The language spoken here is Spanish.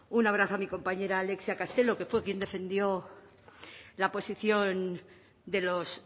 un abrazo a mi compañera alexia castelo que fue quien defendió la posición de los